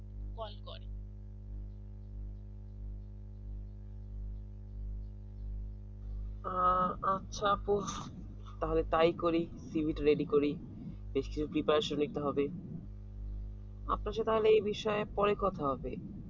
আচ্ছা খুব তাহলে তাই করি cv টো ready করি district preparation নিতে হবে আপনার সাথে তাহলে এ বিষয়ে পরে কথা হবে